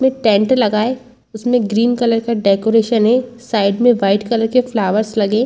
में टेंट लगा है उसमें ग्रीन कलर का डेकोरेशन है साइड में वाइट कलर के फ्लावर्स लगे।